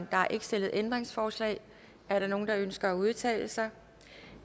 der er ikke stillet ændringsforslag er der nogen der ønsker at udtale sig